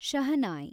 shehnai